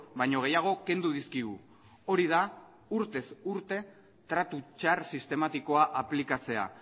baino gehiago kendu dizkigu hori da urtez urte tratu txar sistematikoa aplikatzea